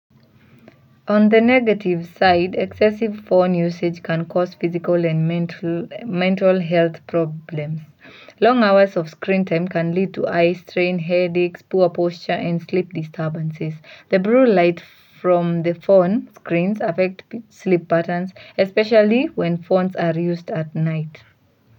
On the negative side, excessive phone usage can cause physical and mental health problems. Long hours of screen time can lead to eye strain, headaches, poor posture and sleep disturbances. The blue light from the phone screens affect sleep patterns, especially when phones are used at night.